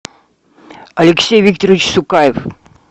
алексей викторович сукаев